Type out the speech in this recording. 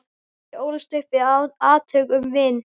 Ég ólst upp við átök um vín.